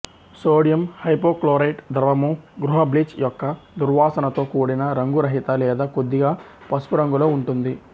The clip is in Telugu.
సోడియం హైపోక్లోరైట్ ద్రవము గృహ బ్లీచ్ యొక్క దుర్వాసనతో కూడిన రంగురహిత లేదా కొద్దిగా పసుపు రంగులో ఉంటుంది